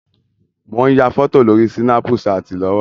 Mò ń ya fọ́tò lórí Sínápú ṣaàtì lọ́wọ́.